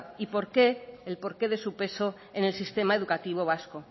y el porqué de su peso en el sistema educativo vasco